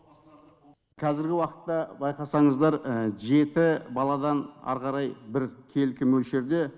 қазіргі уақытта байқасаңыздар жеті баладан ары қарай біркелкі мөлшерде